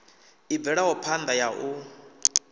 i bvelaho phanda ya u